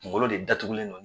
Kungolo de datugulen